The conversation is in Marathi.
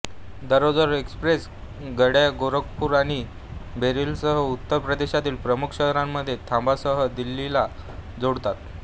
दररोज एक्स्प्रेस गाड्या गोरखपूर आणि बरेलीसह उत्तर प्रदेशातील प्रमुख शहरांमध्ये थांबासह दिल्लीला जोडतात